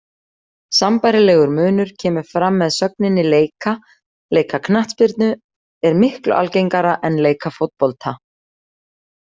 Sambærilegur munur kemur fram með sögninni leika, leika knattspyrnu er miklu algengara en leika fótbolta.